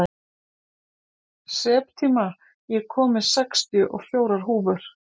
Septíma, ég kom með sextíu og fjórar húfur!